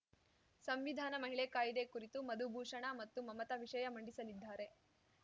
ಸಂವಿಧಾನ ಮಹಿಳೆ ಕಾಯಿದೆ ಕುರಿತು ಮಧುಭೂಷಣ ಮತ್ತು ಮಮತಾ ವಿಷಯ ಮಂಡಿಸಲಿದ್ದಾರೆ